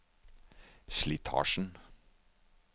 slitasjen